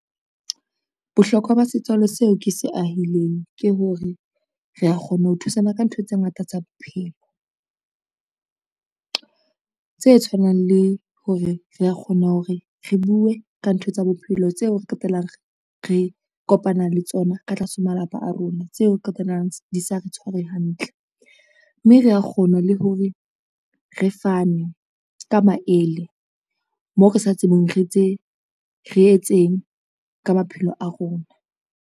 Bohlokwa ba setswalle seo ke se ahileng ke hore re a kgone ho thusana ka ntho tse ngata tsa bophelo. Tse tshwanang le hore re a kgona hore re bue ka ntho tsa bophelo tseo re qetelang re kopana le tsona ka tlase ho malapa a rona tseo qetellang di sa re tshware hantle, mme re kgona le hore re fane ka maele moo re sa tsebeng re etseng ka maphelo a rona.